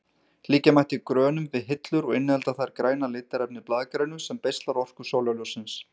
Líkja mætti grönum við hillur og innihalda þær græna litarefnið blaðgrænu sem beislar orku sólarljóssins.